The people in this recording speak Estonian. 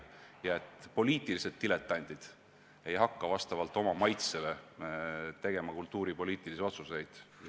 Ja et poliitilised diletandid ei hakka vastavalt oma maitsele tegema kultuuripoliitilisi otsuseid.